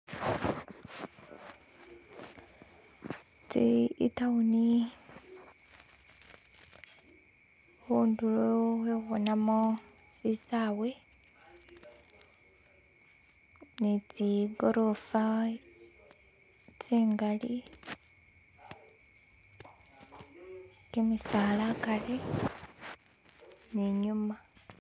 itawuni khundulo khekhubonamo sisawe ni tsigoroofa tsingali kimisaala akari ni inyuma.